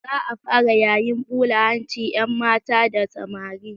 Za a fara yayin ɓula hancin 'yanmata da samari.